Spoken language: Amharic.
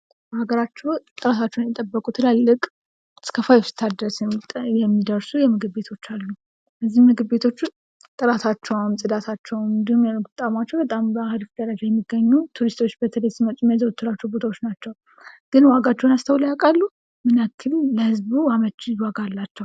በሀገራችን ጥራታቸውን የጠበቁ እስከ ፋይፍ ስታር ድረስ የሚደርሱ ምግብ ቤቶች አሉ:: እነዚህ ምግብ ቤቶችም ጥራታቸውን ፅዳታቸውን እንዲሁም የምግብ ጣዕማቸው በጣም በአሪፍ ደረጃ የሚገኙ ሆነው ቱሪስቶች በተለይ ሲመጡ የሚያዘወትሯቸው ቦታዎች ናቸው:: ግን ዋጋቸውን አስተውለው ያውቃሉ? ምን ያክል ለሕዝቡ አመቺ ዋጋ አላቸው::